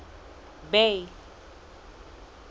bay